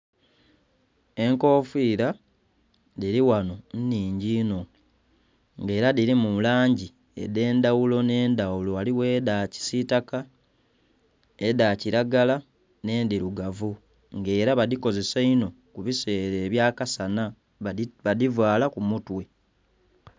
Enkofiila dhili ghano nnhingi inho. Nga ela dhilimu langi edh'endhaghulo nh'endhaghulo. Ghaligho edha kisiitaka, edha kilagala nh'endhilugavu. Nga ela badhikozesa inho ku biseela ebya kasana, badhivaala ku mutwe.